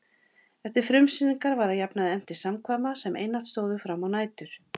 Eftir frumsýningar var að jafnaði efnt til samkvæma sem einatt stóðu frammá nætur.